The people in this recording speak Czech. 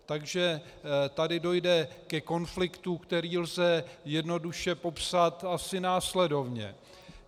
Takže tady dojde ke konfliktu, který lze jednoduše popsat asi následovně.